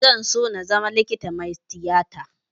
Zan so na zama likita mai tiyata